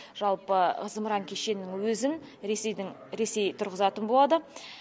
жалпы зымыран кешенінің өзін ресейдің ресей тұрғызатын болады